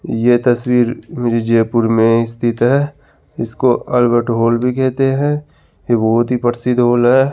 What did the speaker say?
ये तस्वीर मेरे जयपुर में स्थित है इसको अल्बर्ट हॉल भी कहते हैं बहोत ही प्रसिद्ध हॉल है।